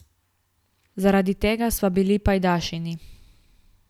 Zaradi tega sva bili pajdašinji.